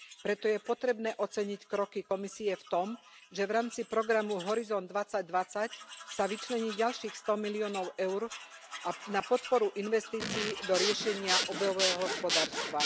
Preto je potrebné oceniť kroky Komisie v tom, že v rámci programu Horizont 2020 sa vyčlení ďalších 100 miliónov eur na podporu investícií do riešenia obehového hospodárstva.